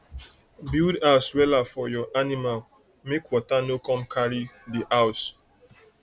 um build house wella for your animal make water no come carry um de um house